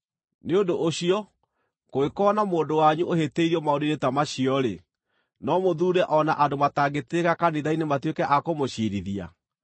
Nĩ ũndũ ũcio kũngĩkorwo na mũndũ wanyu ũhĩtĩirio maũndũ-inĩ ta macio-rĩ, no mũthuure o na andũ matangĩtĩĩka kanitha-inĩ matuĩke a kũmũciirithia!